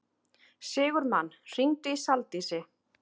Sigurmann, hringdu í Saldísi.